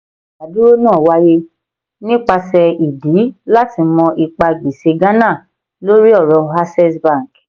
ìdádúró náà wáyé nípasẹ̀ ìdí láti mọ ipa gbèsè ghana lórí àwọn ọ̀rọ̀ access bank.